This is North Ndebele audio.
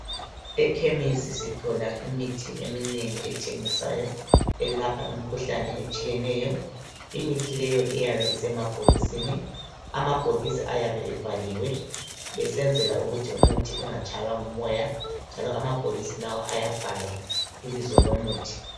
Ekhemesi sithola imithi eminengi ethengiswayo, elapha imikhuhlane etshiyeneyo. Imithi leyo iyabe isemabhokisini, amabhokisi ayabe evaliwe, esenzela ukuthi umuthi ungatshaywa ngumoya, njalo amabhokisi lawa ayabhalwa ibizo lomuthi.